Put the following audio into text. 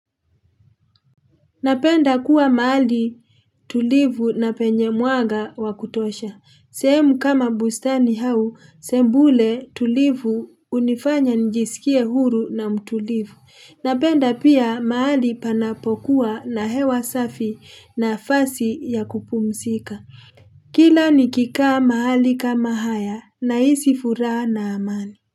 Napenda kuwa mahali tulivu na penye mwanga wa kutosha sehemu kama bustani au sembule tulivu hunifanya nijisikie huru na mtulivu napenda pia mahali panapokuwa na hewa safi nafasi ya kupumzika kila nikikaa mahali kama haya nahisi furaha na amani.